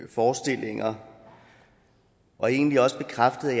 forestillinger og egentlig også bekræftede